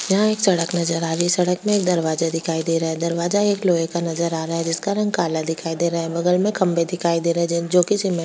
यहाँ एक सड़क नजर आ रही है सड़क में एक दरवाजा दिखाई दे रहा है दरवाजा एक लोहे का नजर आ रहा है जिसका रंग काला दिखाइ दे रहा है बगल में खम्भे दिखाई दे रहें हैं जो किसी में --